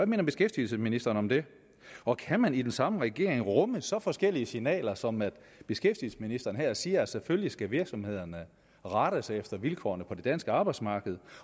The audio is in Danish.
mener beskæftigelsesministeren om det og kan man i den samme regering rumme så forskellige signaler som at beskæftigelsesministeren her siger at selvfølgelig skal virksomhederne rette sig efter vilkårene på det danske arbejdsmarked